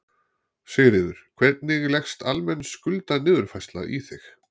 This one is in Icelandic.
Sigríður: Hvernig leggst almenn skuldaniðurfærsla í þig?